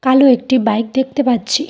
কালো একটি বাইক দেখতে পাচ্ছি।